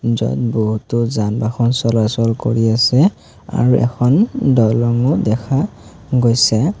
য'ত বহুতো যান বাহন চলাচল কৰি আছে আৰু এখন দলংঙো দেখা গৈছে।